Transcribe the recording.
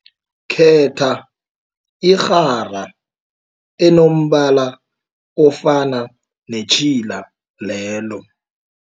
Khetha irhara enombala ofana netjhila lelo.